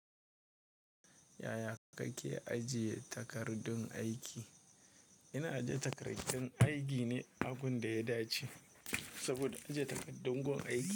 Yaya kake ajiye takardun aiki? Ina ajiye takardun aiki ne a gun da ya dace saboda ajiye takaddun gun aiki.